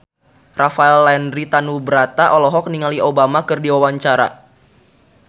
Rafael Landry Tanubrata olohok ningali Obama keur diwawancara